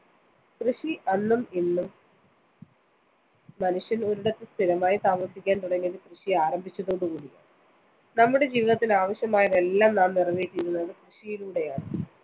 കൃഷി അന്നും ഇന്നും. മനുഷ്യന്‍ ഒരിടത്ത് സ്ഥിരമായി താമസിക്കാന്‍ തുടങ്ങിയത് കൃഷി ആരംഭിച്ചതോടുകൂടിയാണ്. നമ്മുടെ ജീവിതത്തിന് ആവശ്യമായതെല്ലാം നാം നിറവേറ്റിയിരുന്നത് കൃഷിയിലൂടെയാണ്.